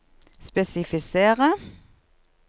spesifisere